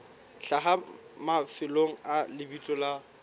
hlaha mafelong a lebitso la